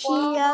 Kaía,